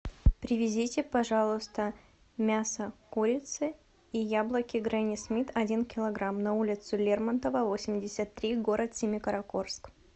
привезите пожалуйста мясо курицы и яблоки гренни смит один килограмм на улицу лермонтова восемьдесят три город семикаракорск